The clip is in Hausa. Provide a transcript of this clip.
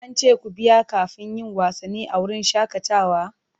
An ce ku biya kafin yin wasanni a wurin shakatawa?